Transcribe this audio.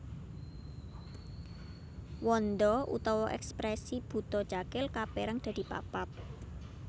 Wanda utawa ekspresi Buta Cakil kaperang dadi papat